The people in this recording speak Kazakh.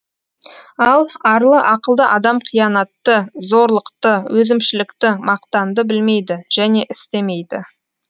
ал арлы ақылды адам қиянатты зорлықты өзімшілдікті мақтанды білмейді және істемейді